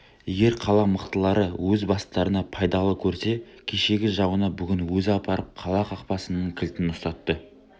егер қала мықтылары өз бастарына пайдалы көрсе кешегі жауына бүгін өзі апарып қала қақпасының кілтін ұстатты